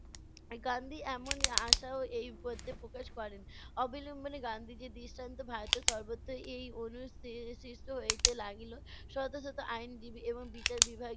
গান্ধি এমন আশাও এই পদ্যে প্রকাশ করেন। অবিলম্বনে গান্ধীজীর দৃষ্টান্ত ভারতের সর্বত্ব এই অণু স~ সি~ সৃষ্ট হইতে লাগিল। শত শত আইনজীবী এবং বিচার বিভাগ